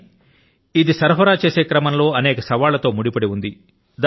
కానీ ఇది సరఫరా చేసే క్రమం లో అనేక సవాళ్ల తో ముడిపడి ఉంది